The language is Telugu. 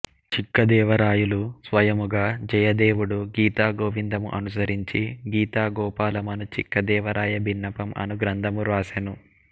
చిక్కదేవరాయలు స్వయముగ జయదేవుడు గీతాగోవిందము అనుసరించి గీతాగోపాల మను చిక్కదేవరాయబిన్నపం అను గ్రంథమును వ్రాసెను